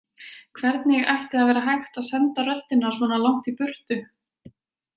Hvernig ætti að vera hægt að senda röddina svona langt í burtu.